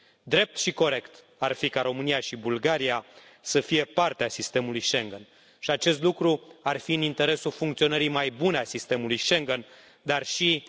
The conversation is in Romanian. Drept și corect ar fi ca România și Bulgaria să fie parte a sistemului Schengen și acest lucru ar fi în interesul funcționării mai bune a sistemului Schengen, dar și al unei mai bune construcții europene.